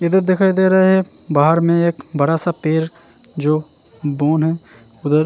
इदर दिखाई देरे हैं बहार में एक बड़ा सा पेड़ जो बून है उधर --